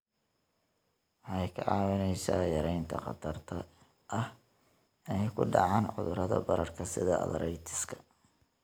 Waxay kaa caawinaysaa yaraynta khatarta ah inay ku dhacaan cudurrada bararka sida arthritis-ka.